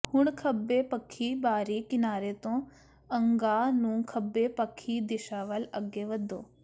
ਹੁਣ ਖੱਬੇ ਪੱਖੀ ਬਾਹਰੀ ਕਿਨਾਰੇ ਤੋਂ ਅਗਾਂਹ ਨੂੰ ਖੱਬੇ ਪੱਖੀ ਦਿਸ਼ਾ ਵੱਲ ਅੱਗੇ ਵਧੋ